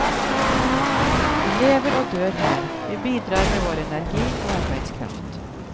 Vi lever og dør her, vi bidrar med vår energi og arbeidskraft.